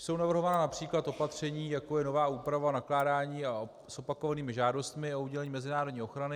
Jsou navrhována například opatření, jako je nová úprava nakládání s opakovanými žádostmi o udělení mezinárodní ochrany.